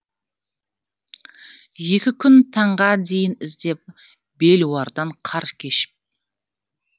екі күн таңға дейін іздеп белуардан қар кешіп